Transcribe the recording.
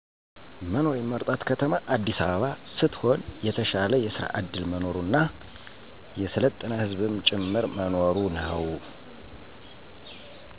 መኖር የምመርጣት ከተማ አዲሰ አበባ ሰትሆን የተሻለ የሰራ ዕድል መኖሩና የሰለጠነ ህዝብም ጭምር መኖሩ ነው።